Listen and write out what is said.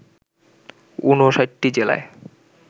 ৫৯টি জেলায়